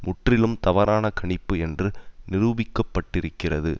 முற்றிலும் தவறான கணிப்பு என்று நிரூபிக்கப்பட்டிருக்கிறது